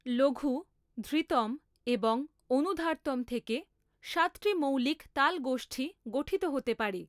লঘু, ধৃতম এবং অনুধার্তম থেকে সাতটি মৌলিক তাল গোষ্ঠী গঠিত হতে পারে।